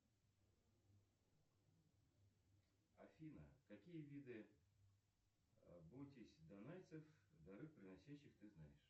афина какие виды бойтесь данайцев дары приносящих ты знаешь